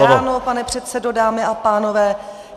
Krásné ráno, pane předsedo, dámy a pánové.